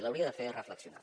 l’hauria de fer reflexionar